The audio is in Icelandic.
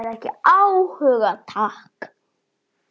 Hafði ekki áhuga, takk.